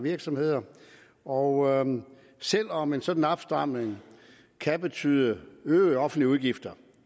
virksomheder og selv om en sådan opstramning kan betyde øgede offentlige udgifter